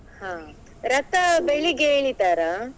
ಹಾ, ರಥ ಬೆಳಿಗ್ಗೆ ಎಳಿತಾರಾ?